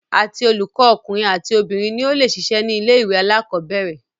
Àti olùkọ ọkùnrin àti obìnrin ni o le ṣiṣẹ́ ní ilé ìwé alákọ̀berẹ̀.